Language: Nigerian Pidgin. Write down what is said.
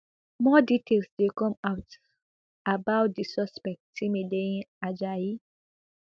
more details dey come out about di suspect timileyin ajayi